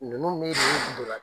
Ninnu bɛ nin ndola